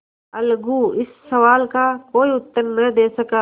अलगू इस सवाल का कोई उत्तर न दे सका